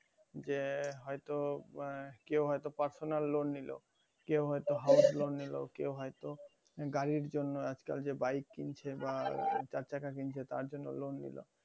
যে হয়তো যে কেউ হয়তো personal loan নিলো কেউ হয়তো house loan নিলো কেউ হয়তো গাড়ির জন্য আজকাল যে bike কিনছে বা চারচাকা কিনছে তার জন্য loan নিলো